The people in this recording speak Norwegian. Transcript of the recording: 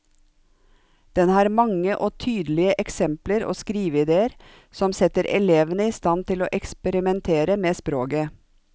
Den har mange og tydelige eksempler og skriveidéer som setter elevene i stand til å eksperimentere med språket.